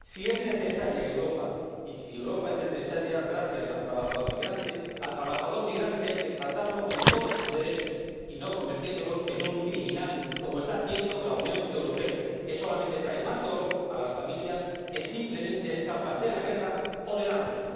Si es necesaria Europa, y si Europa es necesaria gracias al trabajador migrante, al trabajador migrante hay que tratarlo con todos sus derechos y no convirtiéndolo en un criminal, como está haciendo la Unión Europea, que solamente trae más dolor a las familias que simplemente escapan de la guerra o del hambre.